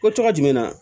Ko tɔgɔ jumɛn na